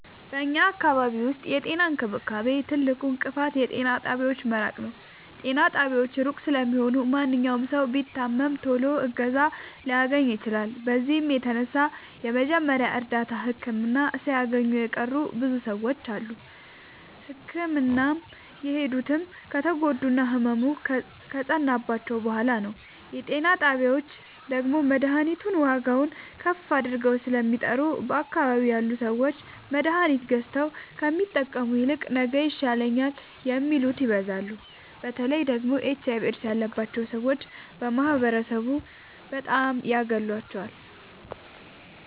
በኛ አካባቢ ዉስጥ የጤና እንክብካቤ ትልቁ እንቅፋት የጤና ጣቢያዎች መራቅ ነዉ። ጤና ጣቢያዎች እሩቅ ስለሆኑ ማንኛዉም ሠዉ ቢታመም ቶሎ እገዛ ላያገኝ ይችላል። በዚህም የተነሣ የመጀመሪያ እርዳታ ህክምና ሣያገኙ የቀሩ ብዙ ሰዎች አሉ። ህክምና የሚሄዱትም ከተጎዱና ህመሙ ከፀናባቸዉ በሗላ ነዉ። የጤና ጣቢያዎች ደግሞ መድሀኒቱን ዋጋዉን ከፍ አድርገዉ ስለሚጠሩ በአካባቢዉ ያሉ ሠዎች መድሀኒት ገዝተዉ ከሚጠቀሙ ይልቅ ነገ ይሻለኛል የሚሉት ይበዛሉ። በተለይ ደግሞ ኤች አይቪ ኤድስ ያባቸዉ ሠዎች ማህበረሡ በጣም ያገላቸዋል።